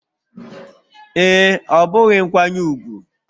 Ee, ọ bụghị nkwanye ùgwù